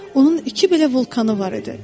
Onun iki belə vulkanı var idi.